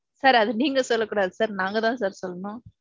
sir அது நீங்க சொல்ல கூடாது sir நாங்க தான் sir சொல்லணும்.